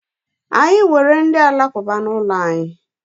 Anyị nwere ndị alakụba n'ụlọ anyị.